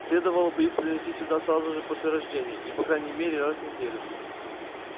следовало бы их приносить сюда сразу же после рождения и по крайней мере раз в неделю